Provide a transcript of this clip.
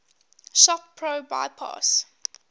shop pro bypass